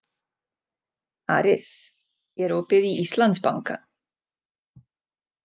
Aris, er opið í Íslandsbanka?